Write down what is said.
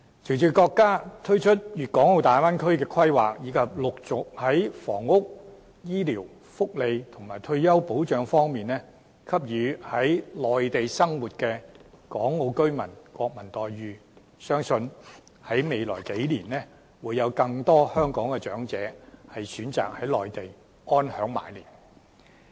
隨着國家推出粵港澳大灣區規劃，以及陸續在房屋、醫療、福利和退休保障方面，給予在內地生活的港澳居民"國民待遇"，相信未來數年會有更多香港長者選擇在內地安享晚年。